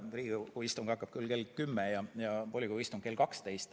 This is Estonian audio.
Riigikogu istung hakkab kell 10 ja volikogu istung kell 12.